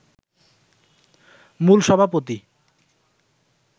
মূল সভাপতি